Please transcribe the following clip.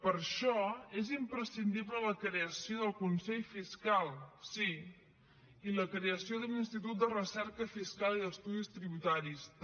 per això és imprescindible la creació del consell fiscal sí i la creació de l’institut de recerca fiscal i d’estudis tributaris també